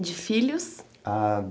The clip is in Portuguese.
De filhos? Ah